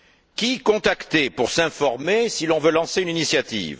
Qui contacter pour s'informer si l'on veut lancer une initiative?